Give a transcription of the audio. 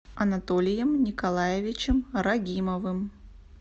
анатолием николаевичем рагимовым